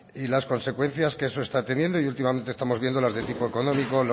y las consecuencias que eso está teniendo y últimamente estamos viendo las de tipo económico